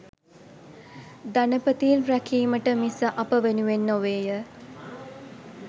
ධනපතීන් රැකීමට මිස අප වෙනුවෙන් නොවේය.